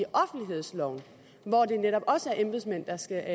offentlighedsloven hvor det netop også er embedsmænd der skal